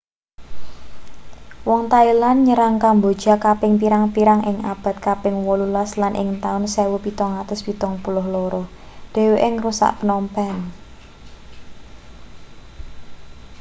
wong thailand nyerang kamboja kaping pirang-pirang ing abad kaping 18 lan ing taun 1772 dheweke ngrusak phnom phen